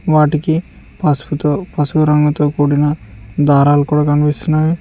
వాటికి పసుపుతో పసుపు రంగుతో కూడిన దరాలు కూడా కనిపిస్తున్నాయి.